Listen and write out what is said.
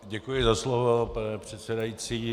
Děkuji za slovo, pane předsedající.